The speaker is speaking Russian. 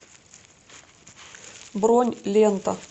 бронь лента